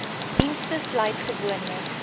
dienste sluit gewoonlik